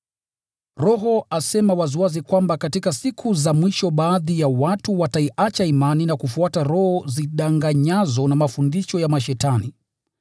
Roho asema waziwazi kwamba katika siku za mwisho baadhi ya watu wataiacha imani na kufuata roho zidanganyazo na mafundisho ya mashetani.